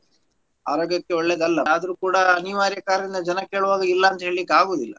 ಆರೋಗ್ಯಕ್ಕೆ ಒಳ್ಳೇದಲ್ಲ ಆದ್ರೂ ಕೂಡ ಅನಿವಾರ್ಯ ಕಾರಣ ಜನ ಕೇಳುವಾಗ ಇಲ್ಲಾ ಅಂತ ಹೇಳ್ಲಿಕ್ ಆಗೂದಿಲ್ಲಾ.